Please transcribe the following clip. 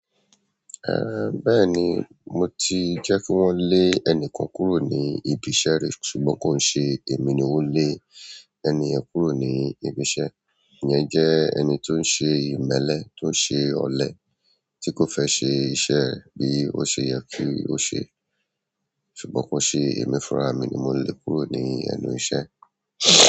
Bẹ́ẹ̀ni mo ti jẹ́ kí wọ́n lé ẹnìkan kúrò ní ibi iṣẹ́ ri ṣùgbọ́n kò n ṣe èmi ni ó lé ẹni yẹn kúrò ní ibi iṣẹ́. Ẹ̀nìyẹn jẹ́ ẹni tó ń ṣe ìmẹ́lẹ́, tó ń ṣe ọ̀lẹ, tí kò fẹ́ ṣe iṣẹ́ bí ó ṣe yẹ kí ó ṣe, ṣùgbọ́n kò n ṣe èmi fúnra mi ni mo lé e kúrò ní ẹnu iṣẹ́.